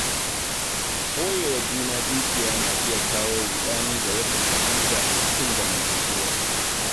Ɓoyewa juna dukiya na iya kawo ruɗani da rashin fahimta a cikin zamantakewa.